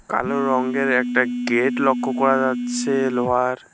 কালো রঙ্গের একটা গেট লক্ষ্য করা যাচ্ছে লোহার।